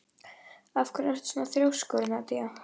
Af hverju ertu svona þrjóskur, Nadia?